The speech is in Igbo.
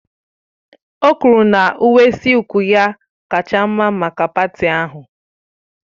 O kwuru na uwe sílku ya kacha mma maka paati ahụ